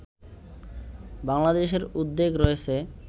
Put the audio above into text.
বাংলাদেশের উদ্বেগ রয়েছে